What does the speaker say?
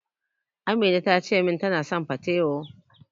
Amina tace min tana son patewo.